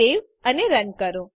save અને run કરો